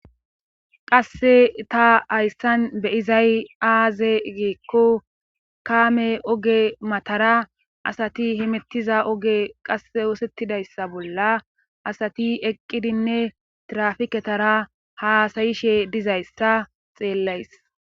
Qasse ta hayssan be'izay aaze giikko kaame oge matara asati himettiza oge qasse osettidayssa bolla asati eqqidinne trafiketara haasayishe dizayssa xeellays